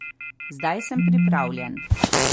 Zdaj sem pripravljen.